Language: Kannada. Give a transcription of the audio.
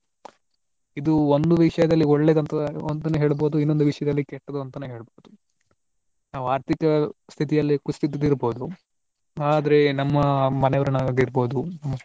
ಇದು ಒಂದು ವಿಷಯದಲ್ಲಿ ಒಳ್ಳೆದು ಅಂತ ಅಂತನೂ ಹೇಳ್ಬಹುದು ಇನ್ನೊಂದು ವಿಷಯದಲ್ಲಿ ಕೆಟ್ಟದ್ದು ಅಂತನೂ ಹೇಳ್ಬಹುದು. ನಾವು ಆರ್ಥಿಕ ಸ್ಥಿತಿಯಲ್ಲಿ ಕುಸಿದು ಬಿದ್ದಿರಬಹುದು ಆದ್ರೆ ನಮ್ಮ ಮನೆಯವರನ್ನ ಆಗಿರಬಹುದು.